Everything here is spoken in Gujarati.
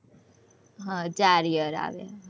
હમ ચાર year આવે.